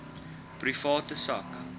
private sak